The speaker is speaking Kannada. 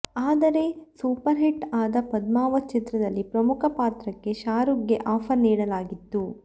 ಆದರೆ ಸೂಪರ್ಹಿಟ್ ಆದ ಪದ್ಮಾವತ್ ಚಿತ್ರದಲ್ಲಿ ಪ್ರಮುಖ ಪಾತ್ರಕ್ಕೆ ಶಾರೂಕ್ಗೆ ಆಫರ್ ನೀಡಲಾಗಿತ್ತು